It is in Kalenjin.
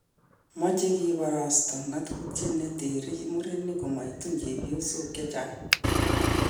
Meche kiborosto ng'atutiet ne tere murenik matkotun chebyosok chechaang